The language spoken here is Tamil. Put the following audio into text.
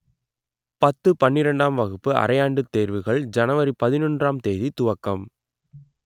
பத்து பன்னிரண்டாம் வகுப்பு அரையாண்டு தேர்வுகள் ஜனவரி பதினொன்றாம் தேதி துவக்கம்